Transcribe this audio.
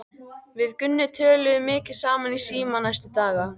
Við Gummi töluðum mikið saman í síma næstu daga.